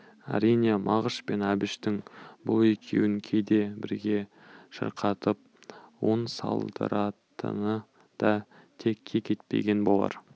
әрине мағыш пен әбіштің бұл екеуін кейде бірге шырқатып он салдыратыны да текке кетпеген болар